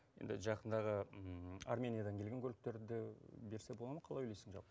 енді жақындағы армениядан келген көліктерді де берсе бола ма қалай ойлайсың жалпы